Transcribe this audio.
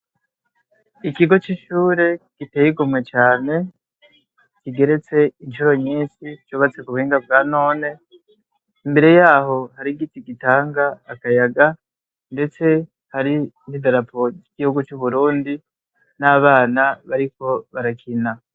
Ikigo c'ishure giteye igomwe cane kigeretse incuro nyinshi cubatse ku buhinga bwa none. Imbere yaho hari igiti gitanga akayaga ndetse hari n'idarapo y'igihugu c'Uburundi n'abana bariko barakina.